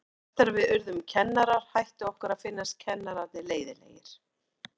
Eftir að við urðum kennarar hætti okkur að finnast kennararnir leiðinlegir.